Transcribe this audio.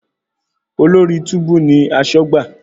Olórí túbú ní aṣọ́gbà.